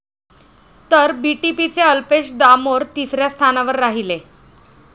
तर बीटीपीचे अल्पेश दामोर तिसऱ्या स्थानावर राहिले.